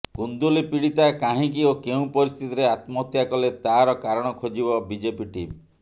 କୁନ୍ଦୁଲି ପୀଡ଼ିତା କାହିଁକି ଓ କେଉଁ ପରିସ୍ଥିତିରେ ଆତ୍ମହତ୍ୟା କଲେ ତାର କାରଣ ଖୋଜିବ ବିଜେପି ଟିମ୍